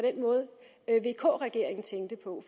er vk regeringen tænkte på